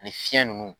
Ani fiɲɛ nunnu